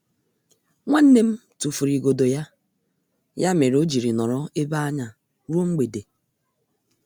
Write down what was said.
Nwannem tufụrụ igodo ya, ya mere ojiri nọrọ ebe anya ruo mgbede.